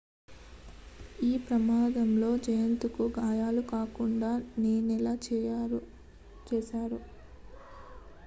ఈ ప్రమాదంలో జయత్ కు గాయాలు కాకుండా నేనలా చేశారు